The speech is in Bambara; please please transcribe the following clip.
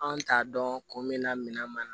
Anw t'a dɔn kun min na minan man ɲi